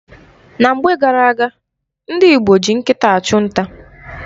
Na mgbe gara-aga, ndị Igbo ji nkịta achụ nta.